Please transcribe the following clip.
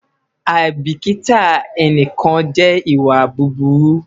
aibikita ẹnikan jẹ iwa buburu